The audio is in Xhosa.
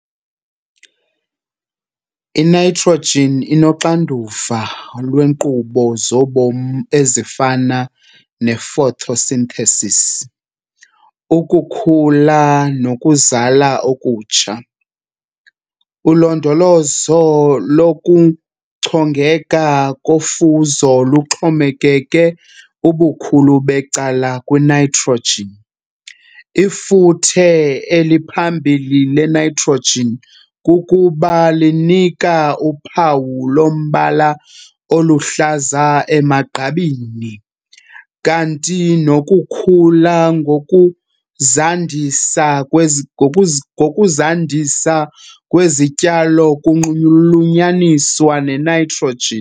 I-Nitrogen inoxanduva lweenkqubo zobomi ezifana nefotosinthesisi, ukukhula nokuzala okutsha. Ulondolozo lokuchongeka kofuzo luxhomekeke ubukhulu becala, kwinitrogen. Ifuthe eliphambili le-nitrogen kukuba linika uphawu lombala oluhlaza emagqabini kanti nokukhula ngokuzandisa kwezityalo kunxulunyaniswa ne-nitrogen.